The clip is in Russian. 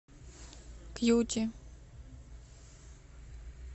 кьюти